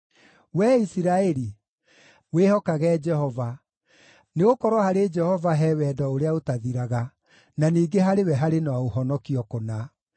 Wee Isiraeli, wĩhokage Jehova, nĩgũkorwo harĩ Jehova he wendo ũrĩa ũtathiraga, na ningĩ harĩ we harĩ na ũhonokio kũna.